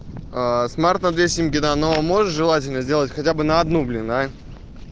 аа смарт на две симки да но можешь желательно сделать хотя бы на одну блин а